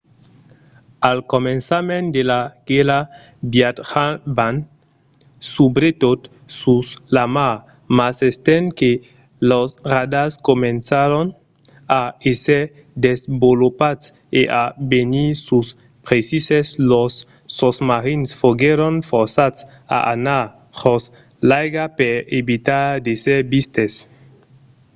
al començament de la guèrra viatjavan subretot sus la mar mas estent que los radars comencèron a èsser desvolopats e a venir pus precises los sosmarins foguèron forçats a anar jos l’aiga per evitar d’èsser vistes